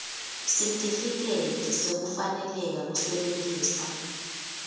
sitifiketi sekufaneleka kusebentisa